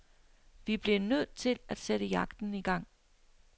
Vi blev nødt til sætte jagten i gang.